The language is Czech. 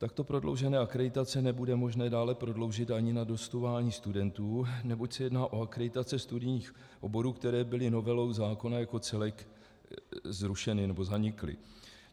Takto prodloužené akreditace nebude možné dále prodloužit ani na dostudování studentů, neboť se jedná o akreditace studijních oborů, které byly novelou zákona jako celek zrušeny nebo zanikly.